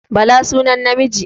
Bala sunan namiji